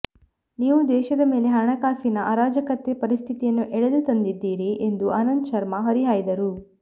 ನೀವು ದೇಶದ ಮೇಲೆ ಹಣಕಾಸಿನ ಅರಾಜಕತೆ ಪರಿಸ್ಥಿತಿಯನ್ನು ಎಳೆದು ತಂದಿದ್ದೀರಿ ಎಂದು ಆನಂದ್ ಶರ್ಮಾ ಹರಿಹಾಯ್ದರು